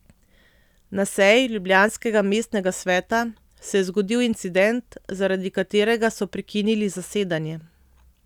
Na seji ljubljanskega mestnega sveta se je zgodil incident, zaradi katerega so prekinili zasedanje.